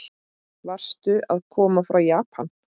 Varstu að koma frá Japan?